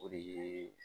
O de ye